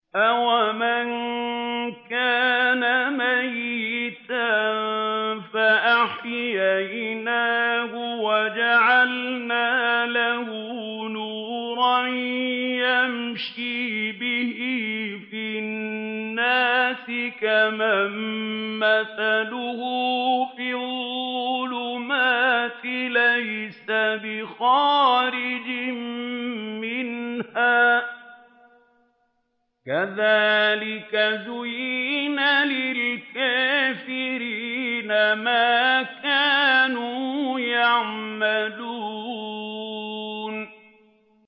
أَوَمَن كَانَ مَيْتًا فَأَحْيَيْنَاهُ وَجَعَلْنَا لَهُ نُورًا يَمْشِي بِهِ فِي النَّاسِ كَمَن مَّثَلُهُ فِي الظُّلُمَاتِ لَيْسَ بِخَارِجٍ مِّنْهَا ۚ كَذَٰلِكَ زُيِّنَ لِلْكَافِرِينَ مَا كَانُوا يَعْمَلُونَ